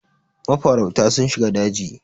mafarauta sun shiga daji